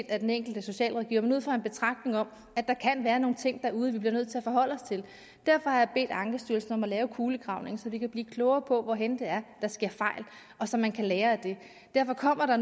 af den enkelte socialrådgiver men ud fra en betragtning om at der kan være nogle ting derude vi bliver nødt til at forholde os til derfor har jeg bedt ankestyrelsen om at lave en kulegravning så vi kan blive klogere på hvor det er der sker fejl så man kan lære af det derfor kommer